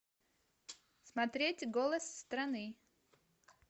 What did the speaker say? смотреть голос страны